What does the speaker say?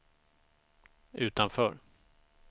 utanför